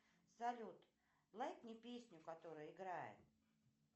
салют лайкни песню которая играет